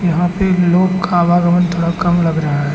यहां पे लोग का आवागमन थोड़ा कम लग रहा है।